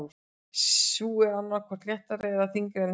Sú er annað hvort léttari eða þyngri en hinar.